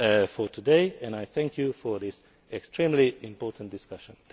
conclusion for today, and I thank you for this extremely important discussion.